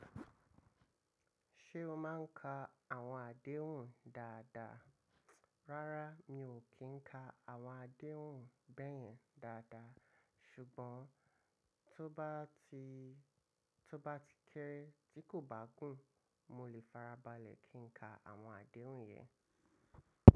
Ṣé o máa ń ka àwọn àdéhùn dáadáa? Rárá mi ò kí ń ka àwọn àdéhùn bẹ́ẹ̀yẹn dáadáa. Ṣùgbọ́n tó bá ti, tó bá ti kéré tí kò bá gùn mo lè farabalẹ̀ kí ń ka àwọn àdéhùn yẹn.